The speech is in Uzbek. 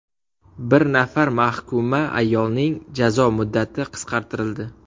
Bir nafar mahkuma ayolning jazo muddati qisqartirildi.